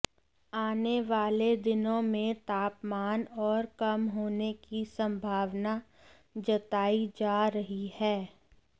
आने वाले दिनों में तापमान और कम होने की संभावना जताई जा रही है